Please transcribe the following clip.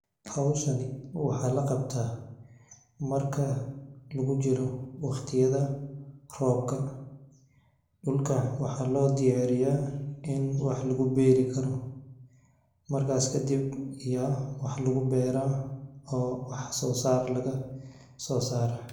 Hawshani waxa la qabta marka lagu jiro wakhtiyada roobka. Dhulka waxaa loo diyaariyaa in wax lagu beeri karo. Marka iska dib, iyo wax lagu beeraa oo wax soosaar laga soosaaray.